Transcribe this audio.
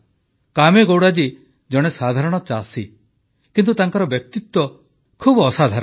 କାମେଗୌଡ଼ା ଜୀ ଜଣେ ସାଧାରଣ ଚାଷୀ କିନ୍ତୁ ତାଙ୍କର ବ୍ୟକ୍ତିତ୍ୱ ବହୁତ ଅସାଧାରଣ